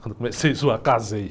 Quando comecei a zoar, casei.